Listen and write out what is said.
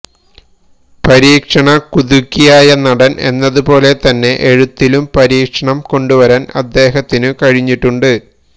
പരീക്ഷണകുതുകിയായ നടൻ എന്നതുപോലെത്തന്നെ എഴുത്തിലും പരീക്ഷണം കൊണ്ടുവരാൻ അദ്ദേഹത്തിനു കഴിഞ്ഞിട്ടുണ്ട്